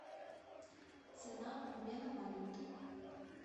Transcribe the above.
цена обмена валюты